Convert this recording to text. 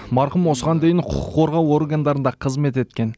марқұм осыған дейін құқық қорғау органдарында қызмет еткен